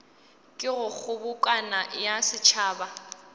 ka go kgobokano ya setšhaba